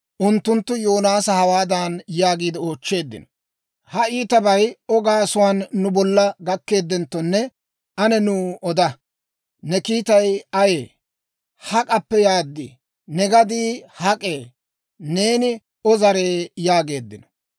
Unttunttu Yoonaasa hawaadan yaagiide oochcheeddino; «Ha iitabay O gaasuwaan nu bolla gakeddenttone, ane nuw oda. Ne kiitay ayee? Hak'appe yaad? Ne gadii hak'ee? Neeni O zare?» yaageeddino.